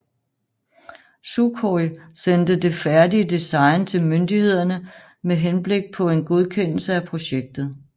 Sukhoj sendte det færdige design til myndighederne med henblik på en godkendelse af projektet